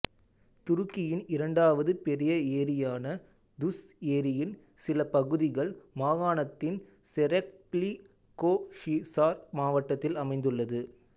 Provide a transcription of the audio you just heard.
துருக்கியின் இரண்டாவது பெரிய ஏரியான துஸ் ஏரியின் சில பகுதிகள் மாகாணத்தின் செரெஃப்லிகோஹிசார் மாவட்டத்தில் அமைந்துள்ளது